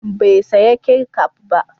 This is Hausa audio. Bai saya kecaf ba?